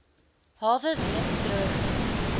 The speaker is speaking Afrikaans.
hawe weens droogte